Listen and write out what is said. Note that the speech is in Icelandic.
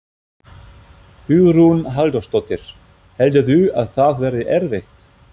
Hugrún Halldórsdóttir: Heldurðu að það verði erfitt?